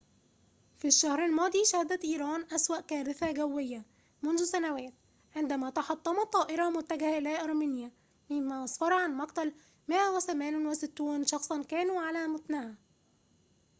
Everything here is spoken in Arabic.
في الشهر الماضي شهدت إيران أسوأ كارثة جوية منذ سنوات عندما تحطمت طائرة متجهة إلى أرمينيا مما أسفر عن مقتل 168 شخصاً كانوا على متنها